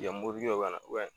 Yan mɔbili dɔ bi ka na ubɛ